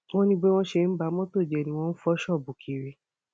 wọn ní bí wọn ṣe ń ba mọtò jẹ bẹẹ ni wọn ń fọ ṣọọbù kiri